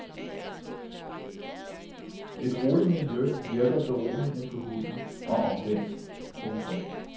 Et roligt miljø virker beroligende på hunden og omvendt. punktum